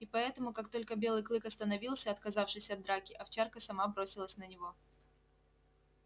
и поэтому как только белый клык остановился отказавшись от драки овчарка сама бросилась на него